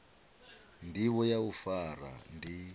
ndivho ya u fara ndi